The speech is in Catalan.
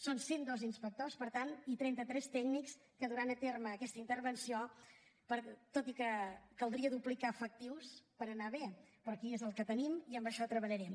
són cent i dos inspectors per tant i trenta tres tècnics que duran a terme aquesta intervenció tot i que caldria duplicar efectius per anar bé però aquí és el que tenim i amb això treballarem